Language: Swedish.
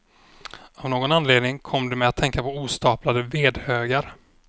Av någon anledning kom de mig att tänka på ostaplade vedhögar.